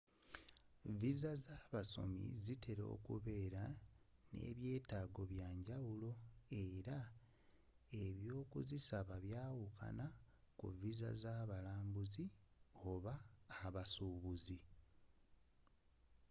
viza z'abasomi zitera okubeera n'ebyetaago ebyenjawulo era ebyokuzisaba byawukana ku viza z'abalambuzi oba abasuubuzi